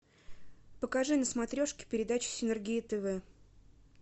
покажи на смотрешке передачу синергия тв